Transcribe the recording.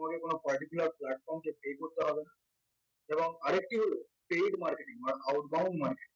তোমাকে কোনো particular platform কে pay করতে হবে না এবং আরেকটি হল paid marketing বা outbound marketing